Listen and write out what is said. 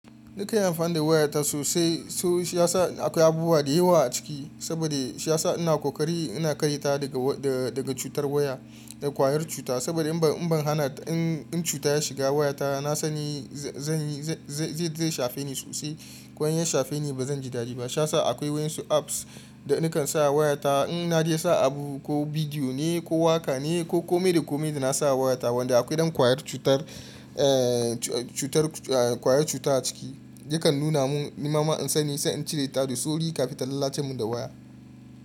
Ni kan yi amfani da wayata sosai, shi ya sa akwai abubuwa da yawa a ciki, saboda shi ya sa ina ƙoƙari ina kare ta daga cutar waya da ƙwayar cuta. Saboda in ban hana in cuta ya shiga wayata na sani zai shafe ni sosai, ko in ya shafe ni ba zan ji dadi ba. Sha yasa akwai waɗansu apps da nikan sa a wayata. In na je sa abu ko bidiyo ne, ko waƙa ne, ko kome da kome da na sa a wayata wanda akwai ɗan ƙwayar cutar eh cutar a kwayar cuta a ciki yakan nuna mun nema in sani sai in cire ta da sauri kafin ta lalace mun da waya.